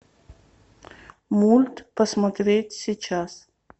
мульт посмотреть сейчас